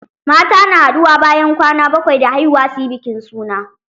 Mata na haɗuwa bayan kwana bakwai da haihuwa suyi bikin suna.